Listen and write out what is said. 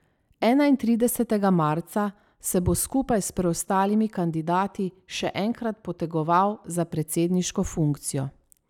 Enaintridesetega marca se bo skupaj s preostalimi kandidati še enkrat potegoval za predsedniško funkcijo.